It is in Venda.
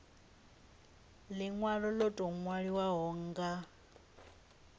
linwalo lo tou nwaliwaho nga